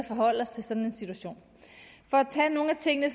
forholde os til sådan en situation for at tage nogle af tingene